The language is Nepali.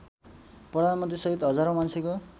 प्रधानमन्त्रीसहित हजारौँ मान्छेको